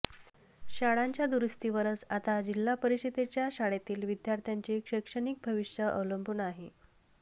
शाळांच्या दुरुस्तीवरच आता जिल्हा परिषदेच्या शाळेतील विद्यार्थ्यांचे शैक्षणिक भविष्य अवलंबून आहे